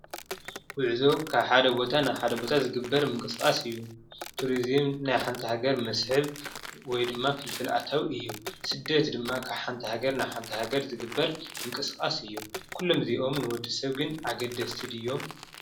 ጉዕዞ ካብ ሓደ ቦታ ናብ ሓደ ቦታ ዝግበር ምንቅስቃስ እዪ። ቱሪዝም ናይ ሓንቲ ሃገር መስሕብ ወይ ድማ ፍልፍል አታዊ እዪ። ስደት ድማ ካብ ሓንቲ ሃገር ናብ ሓንቲ ሃገር ዝግበር ምንቅስቃስ እዪ ኩሎም እዚኦም ንወድ ሰብ ግን አገደስቲ ድዮም?